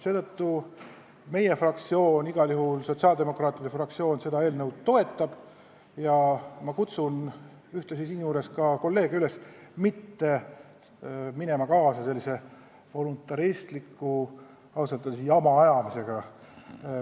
Seetõttu igal juhul sotsiaaldemokraatlik fraktsioon seda eelnõu toetab ja ma kutsun kolleege üles mitte minema kaasa sellise voluntaristliku, ausalt öeldes jama ajamisega.